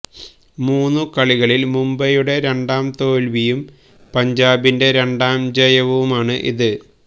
മൂന്നു കളികളില് മുംബൈയുടെ രണ്ടാം തോല്വിയും പഞ്ചാബിന്റെ രണ്ടാം ജയവുമാണ് ഇത്